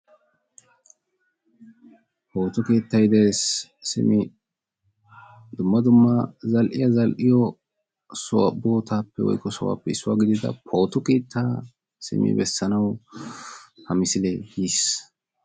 pooto keettay de'ees simi dumma dumma zal"iyaa zal"iyo bootappe woykko sohuwappe issuwaa gidida pooto keetta beessanaw ha misilee yiis.